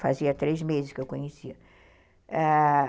Fazia três meses que eu conhecia, ãh...